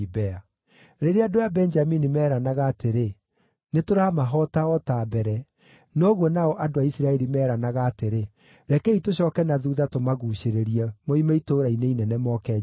Rĩrĩa andũ a Benjamini meeranaga atĩrĩ, “Nĩtũramahoota o ta mbere,” noguo nao andũ a Isiraeli meeranaga atĩrĩ, “Rekei tũcooke na thuutha tũmaguucĩrĩrie moime itũũra-inĩ inene moke njĩra-inĩ.”